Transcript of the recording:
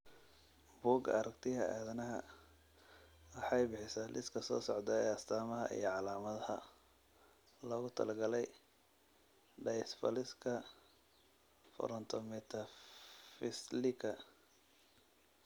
Bugga Aaragtiyaha aadanaha waxay bixisaa liiska soo socda ee astamaha iyo calaamadaha loogu talagalay dysplasika Frontometaphysilka